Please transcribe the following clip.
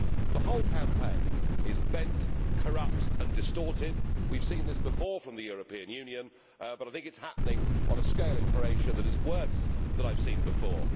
The whole campaign is bent, corrupt and distorted. We have seen this before from the European Union, but I think it is happening on a scale in Croatia that is worse than I have seen before.